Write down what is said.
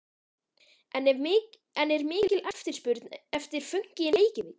En er mikil eftirspurn eftir fönki í Reykjavík?